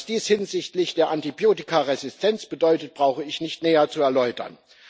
Was dies hinsichtlich der Antibiotikaresistenz bedeutet, brauche ich nicht näher zu erläutern.